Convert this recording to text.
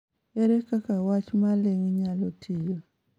Ere kaka wach ma ling� nyalo tiyo?